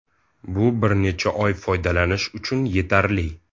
Bu bir necha oy foydalanish uchun yetarli.